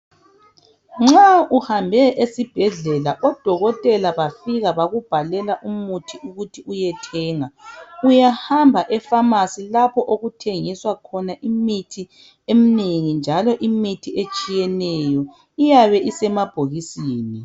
Nxa uhambe esibhedlela odokotela bafika bakubhalela umuthi ukuthi uyethenga uyahamba efamasi lapho okuthengiswa khona imithi eminengi njalo imithi etshiyeneyo iyabe isemabhokisini